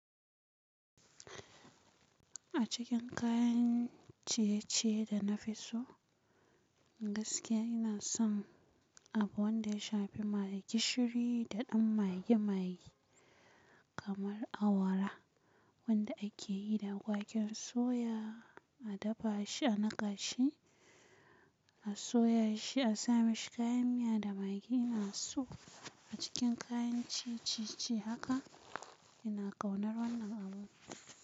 A cikin kayan ciye-ciye da nafiso gaskiya inason abu wanda ya shafi magi shiri da ɗan magi-magi kamar awara wanda akeyi da waƙen soya, a dafashi, a naƙashi, a soyashi, a sa mashi kayan miya da magi. Ina so a cikin kayan ciye-ciye haka ina ƙaunar wannan abu.